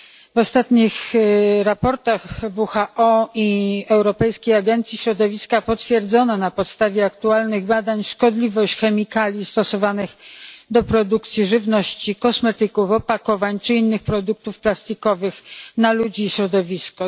W ostatnich raportach WHO i Europejskiej Agencji Środowiska potwierdzono na podstawie aktualnych badań szkodliwość chemikaliów stosowanych do produkcji żywności, kosmetyków, opakowań czy innych produktów plastikowych dla ludzi i środowiska.